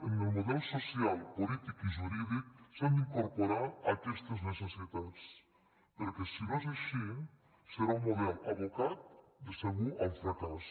en el model social polític i ju·rídic s’han d’incorporar aquestes necessitats perquè si no és així serà un model abocat de segur al fracàs